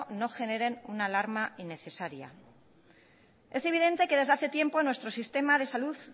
no generen una alarma innecesaria es evidente que desde hace tiempo nuestro sistema de salud